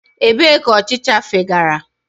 Ebee ka ọchịcha fegara?